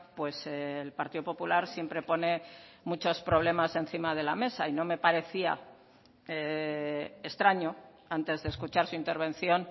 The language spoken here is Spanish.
pues el partido popular siempre pone muchos problemas encima de la mesa y no me parecía extraño antes de escuchar su intervención